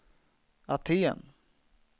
Aten